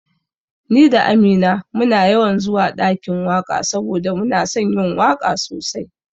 Ni da Amina muna yawan zuwa ɗakin waka saboda muna son yin waka sosai